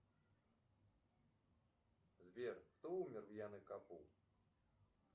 сбер кто умер в яно кабу